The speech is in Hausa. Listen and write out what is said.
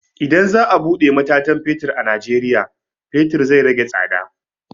Idan za a buɗe matatan fetur a najeriya, fetur zai rage tsada.